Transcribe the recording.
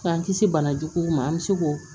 K'an kisi bana juguw ma an bɛ se k'o